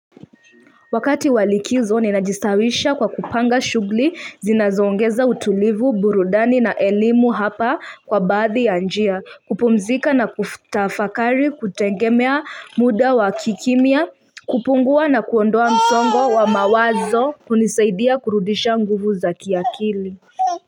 Wakati wa likizo ni najistawisha kwa kupanga shugli zinazongeza utulivu burudani na elimu hapa kwa baadhi ya njia kupumzika na kutafakari kutengemea muda wa kikimia kupungua na kuondoa msongo wa mawazo kunisaidia kurudisha nguvu za kiakili.